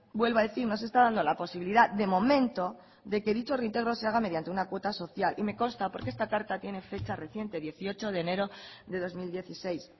vuelvo a decir no se está dando la posibilidad de momento de que dicho reintegro se haga mediante una cuota social y me consta porque esta carta tiene fecha reciente dieciocho de enero de dos mil dieciséis